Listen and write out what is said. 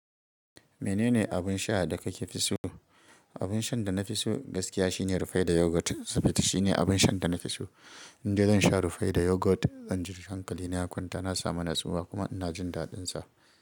Menene abunsha da kafiso? Abunshan da nafiso gaskiya shine Rufaida Yogurt. Saboda shine abunshan da nafiso. Indai zansha Rufaida Yogurt, zanji hankali na ya kwanta, na samu natsuwa kuma ina jindaɗinsa.